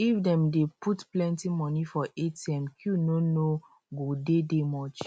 if dem dey put plenty monie for atm queue no no go dey dey much